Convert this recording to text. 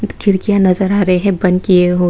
खिड़कियाँ नजर आ रही हैं बंद किए--